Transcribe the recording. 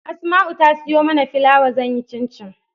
Asma'u ta siyo mana filawa zan yi cincin